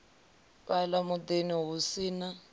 fhala mudini hu si na